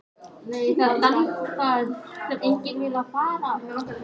Umræða er um að byggt verði knattspyrnuhús á Ísafirði og Hafsteinn fagnar slíkum hugmyndum.